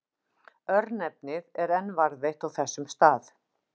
Örnefnið er enn varðveitt á þessum stað.